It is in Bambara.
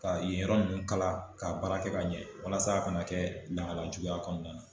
Ka yen yɔrɔ nunnu kala ka baara kɛ ka ɲɛ walasa a kana kɛ lahala juguya kɔnɔna na.